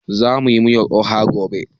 Zamu yi miyar oha gobe